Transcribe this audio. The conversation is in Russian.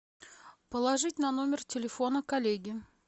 положить на номер телефона коллеги